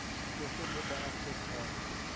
voorsittende beamptes gaan